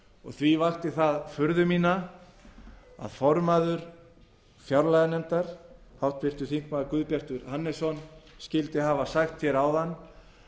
f því vakti það furðu mína að formaður fjárlaganefndar háttvirtir þingmenn guðbjartur hannesson skyldi hafa sagt hér áðan að